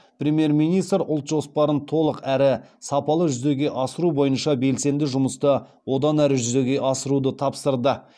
премьер министр ұлт жоспарын толық әрі сапалы жүзеге асыру бойынша белсенді жұмысты одан әрі жүзеге асыруды тапсырды